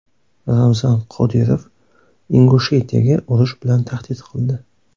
Ramzan Qodirov Ingushetiyaga urush bilan tahdid qildi.